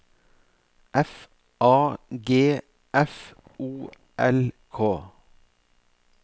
F A G F O L K